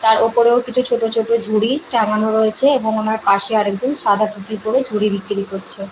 তার ওপরেও কিছু ছোটো ছোটো ঝুড়ি টাঙানো রয়েছে এবং ওনার পাশে একজন সাদা টুপি পরে ঝুড়ি বিক্রি করছে ।